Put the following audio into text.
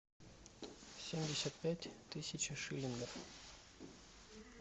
семьдесят пять тысяч шиллингов